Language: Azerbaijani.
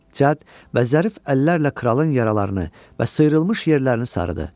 Cəd və zərif əllərlə kralın yaralarını və sıyrılmış yerlərini sarıdı.